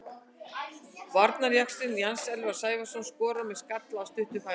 Varnarjaxlinn Jens Elvar Sævarsson skorar með skalla af stuttu færi.